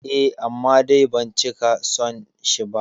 Eh, amma dai ban cika son shi ba